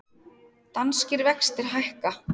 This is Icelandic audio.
Danskir vextir hækka